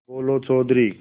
बोलो चौधरी